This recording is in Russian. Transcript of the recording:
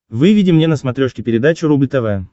выведи мне на смотрешке передачу рубль тв